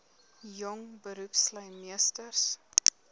jong beroepslui meesters